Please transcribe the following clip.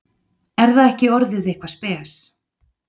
Er það ekki orðið eitthvað spes?